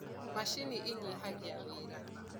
macinĩ inyihagia wira